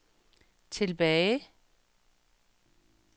tilbage